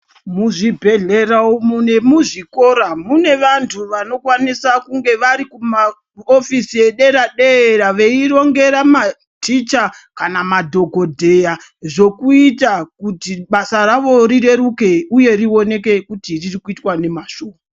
Muzvibhedhlera umu nemuzvikora mune vantu vanokwanisa kunge vari kuhofisi yeder dera veirngera maticha kana madhokodheya zvokuita kuita kuti basa ravo rireruke uye rioneke kuti ririkuitwa nemazvo .